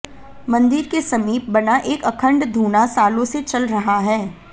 मंदिर के समीप बना एक अखंड धूना सालों से चल रहा है